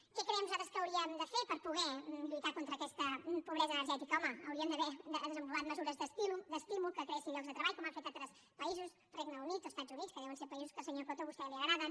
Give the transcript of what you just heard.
què creiem nosaltres que hauríem de fer per poder lluitar contra aquesta pobresa energètica home hauríem d’haver desenvolupat mesures d’estímul que creessin llocs de treball com han fet altres països regne unit o estats units que deuen ser països que al senyor coto a vostè li agraden